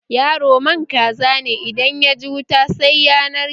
Yaro man kaza ne, idan yaji wuta sai ya narke